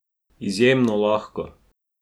Izjemno lahko!